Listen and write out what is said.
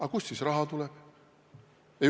Aga kust siis raha tuleb?